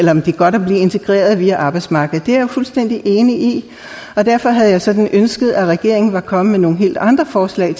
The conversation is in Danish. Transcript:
integreret via arbejdsmarkedet det er jeg jo fuldstændig enig i og derfor havde jeg sådan ønsket at regeringen var kommet med nogle helt andre forslag